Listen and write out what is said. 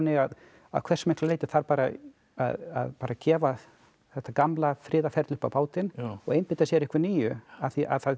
að að hversu miklu leyti þarf að gefa þetta gamla friðarferli upp á bátinn og einbeita sér að einhverju nýju af því